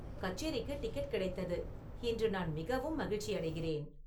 கச்சேரிக்கு டிக்கெட் கிடைத்தது இன்று நான் மிகவும் மகிழ்ச்சியடைகிறேன்